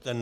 Tak.